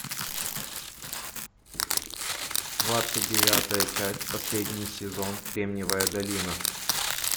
двадцать девятая часть последний сезон кремниевая долина